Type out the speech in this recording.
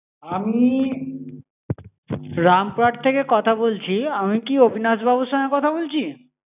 আমি রামপুরহাট থেকে কথা বলছি. আমি কি অভিনাশবাবুর সঙ্গে কথা বলছি?